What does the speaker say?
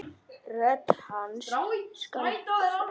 Rödd hans skal hverfa.